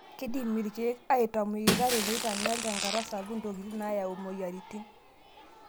Keidim irkiek atamuoyita teneitanyal tenkata sapuk ntokitin naayau moyiaritin.